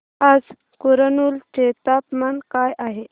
आज कुरनूल चे तापमान काय आहे